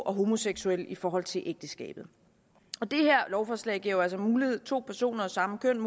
og homoseksuelle i forhold til ægteskabet det her lovforslag giver altså mulighed for to personer af samme køn